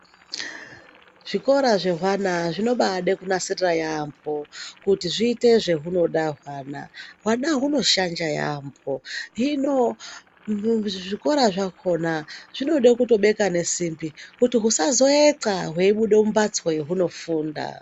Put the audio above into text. Zvikora zvehwana zvinombade kunasirira yambo kuti zviite zvehunoda hwana. Hwana hunoshanja yambo hino zvikora zvakona zvinoda kutobeka ngesimbi kuti husazoendxahweibuda mumbatso yahunofunda.